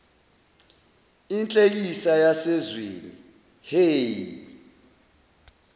inhlekisa yasezweni hhe